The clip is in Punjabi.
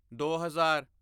ਦੋ ਹਜ਼ਾਰ